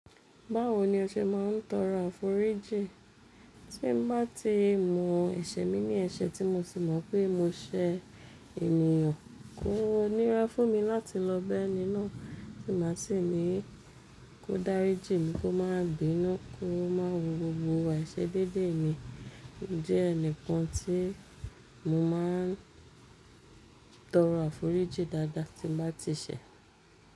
Báwo ni ẹ ṣe máa ń tọrọ àforíjì? Tí mo bá ti mọ ẹsẹ̀ mi ní ẹsẹ̀ tí mo sì mọ̀ pé mo ṣẹ ènìyàn, kó nira fún mi láti lọ bẹ́ni náà, tí màá sì ní kó dáríjì mí kó máa bínu, kó máa wo gbogbo ai se déédéé mi. Mo jẹ́ ẹni kan tí mo máa ń tọrọ àforíjì dáadáa tí mo bá ti ṣẹ̀